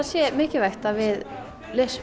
sé mikilvægt að við lesum